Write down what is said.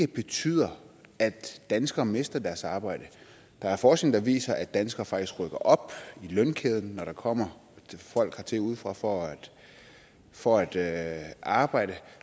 betyder at danskere mister deres arbejde der er forskning der viser at danskere faktisk rykker op i lønkæden når der kommer folk hertil udefra for for at at arbejde